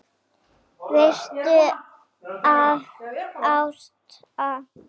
Veistu það, Ásta!